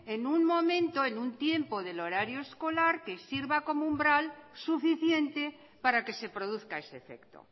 en un momento en un tiempo del horario escolar que sirva como umbral suficiente para que se produzca ese efecto